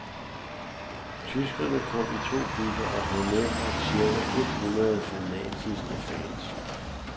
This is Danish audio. Tyskerne kom i to busser og havde medbragt cirka et hundrede fanatiske fans.